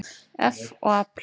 eff og afl.